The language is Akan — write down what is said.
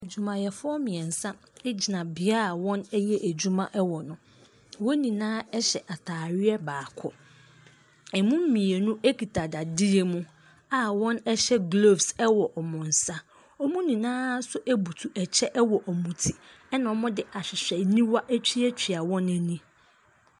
Adwumayɛfoɔ mmiɛnsa gyina bea a wɔyɛ adwuma wɔ no, wɔn nyinaa hyɛ ataadeɛ baako, ɛmu mmienu kita dadeɛ mu a wɔhyɛ gloves wɔ wɔn nsa, wan nyinaa nso butu kyɛ wɔ wɔn ti na wɔde ahwehwɛniwa atuatua wɔn ani.